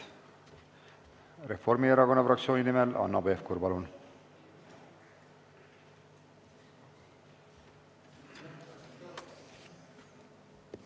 Reformierakonna fraktsiooni nimel Hanno Pevkur, palun!